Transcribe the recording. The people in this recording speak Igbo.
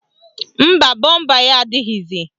Mba, bọmba ya adịghịzi